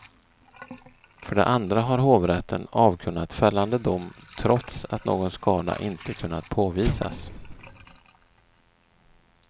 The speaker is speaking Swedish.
För det andra har hovrätten avkunnat fällande dom trots att någon skada inte kunnat påvisas.